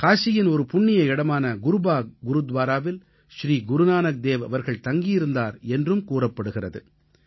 காசியின் ஒரு புண்ணிய இடமான குருபாக் குருத்வாராவில் ஸ்ரீ குருநானக்தேவ் அவர்கள் தங்கியிருந்தார் என்றும் கூறப்படுகிறது